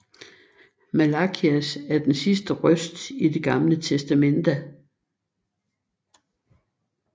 Malakias er den sidste røst i Det Gamle testamente